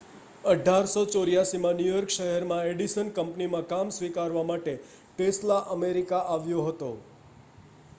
1884 માં New York શહેરમાં Edison કંપનીમાં કામ સ્વીકારવા માટે ટેસ્લા અમેરિકામાં આવ્યો હતો